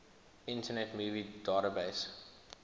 internet movie database